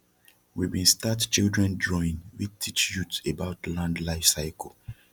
we bin start children drawin wey teach youth about land life cycle